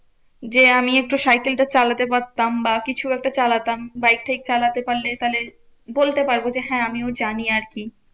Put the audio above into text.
যে আমি একটু সাইকেলটা চালাতে পারতাম বা কিছু একটা চালাতাম। বাইক ফাইক চালাতে পারলে তাহলে বলতে পারবো যে, হ্যাঁ আমিও জানি আরকি।